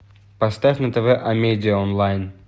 поставь на тв амедиа онлайн